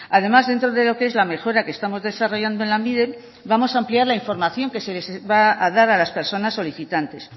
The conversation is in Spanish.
además dentro de lo que es la mejora que estamos desarrollando en lanbide vamos a ampliar la información que se les va a dar a las personas solicitantes